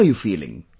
How are you feeling